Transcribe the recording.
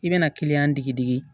I bɛna kiliyan digi digi